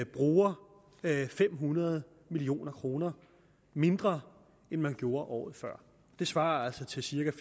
bruger fem hundrede million kroner mindre end man gjorde året før det svarer altså til cirka